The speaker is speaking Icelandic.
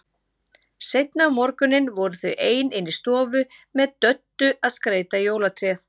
Seinna um morguninn voru þau ein inni í stofu með Döddu að skreyta jólatréð.